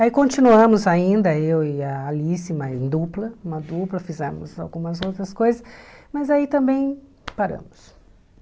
Aí continuamos ainda, eu e a Alice, mas em dupla, uma dupla, fizemos algumas outras coisas, mas aí também paramos.